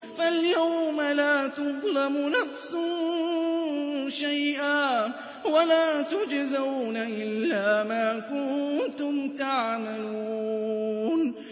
فَالْيَوْمَ لَا تُظْلَمُ نَفْسٌ شَيْئًا وَلَا تُجْزَوْنَ إِلَّا مَا كُنتُمْ تَعْمَلُونَ